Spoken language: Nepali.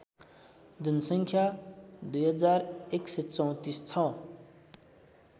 जनसङ्ख्या २१३४ छ